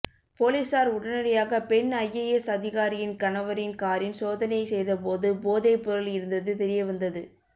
போலீசார் உடனடியாக பெண் ஐஏஎஸ் அதிகாரியின் கணவரின் காரின் சோதனை செய்தபோது போதைப் பொருள் இருந்தது தெரியவந்தது